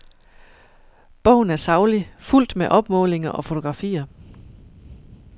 Bogen er saglig, fuldt med opmålinger og fotografier.